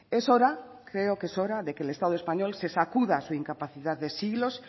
es hora creo que es hora de que el estado español se sacuda su incapacidad de siglos